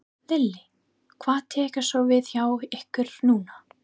Lillý: Hvað tekur svo við hjá ykkur núna?